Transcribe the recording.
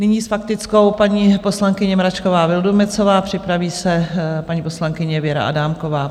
Nyní s faktickou paní poslankyně Mračková Vildumetzová, připraví se paní poslankyně Věra Adámková.